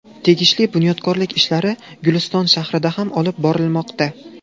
Tegishli bunyodkorlik ishlari Guliston shahrida ham olib borilmoqda.